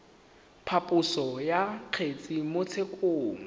phaposo ya kgetse mo tshekong